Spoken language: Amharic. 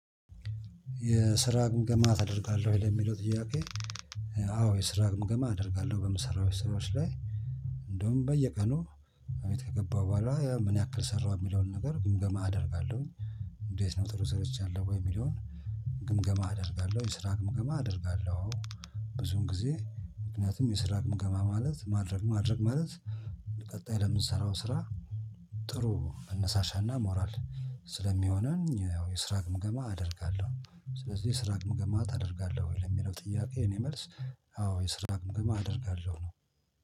የስራ ግምገማ ታደርጋለሁ ወይ? ለሚለው ጥያቄ አዎ የስራ ግምገማ አደርጋለሁ። በምሰራው ስራዎች ላይ እንደውም በየቀኑ ቤት ከገባሁ በኋላ ምን ያክል ሰራው የሚለውን ነገር ግምገማ አደርጋለሁኝ። እንዴት ነው ጥሩ ሰርቻለሁ ወይ የሚለውን ግምገማ አደርጋለሁ። የስራ ግምገማ አደርጋለሁ። ብዙም ጊዜ ምክንያቱም የስራ ግምገማ ማለት ማድረግ ማድረግ ማለት ቀጣይ ለምንሰራው ስራ ጥሩ መነሳሻና ሞራል ስለሚሆነን ያው የስራ ግምገማ አደርጋለሁ ስለዚህ ስራ ግምገማ ታደርጋለህ ወይ ለሚለው ጥያቄ የኔ መልስ አዎ የስራ ግምገማ አደርጋለሁ ነው።